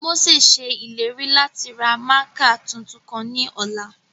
Mose ṣe ileri lati ra mạạkạ tuntun kan ni ọla.